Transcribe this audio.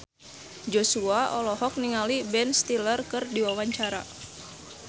Joshua olohok ningali Ben Stiller keur diwawancara